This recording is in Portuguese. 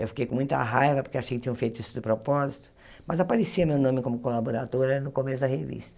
Eu fiquei com muita raiva, porque achei que tinham feito isso de propósito, mas aparecia meu nome como colaboradora no começo da revista.